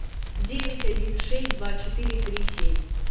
девять один шесть два четыре три семь